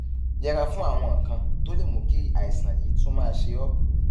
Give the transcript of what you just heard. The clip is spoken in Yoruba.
yẹra fún àwọn nǹkan tó lè mú kí àìsàn yìí tún máa ṣe ọ